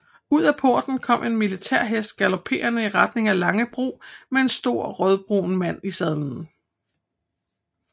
Ud af porten kom en militær hest galoperende i retning af Langebro med en stor rødbrun mand i sadlen